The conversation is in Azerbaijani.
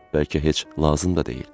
Bəlkə heç lazım da deyil.